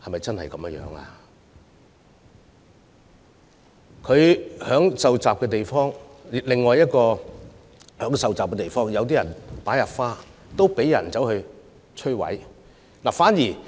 在他受襲的地方......在另一處有人受襲的地方，有人擺放鮮花，但卻被摧毀。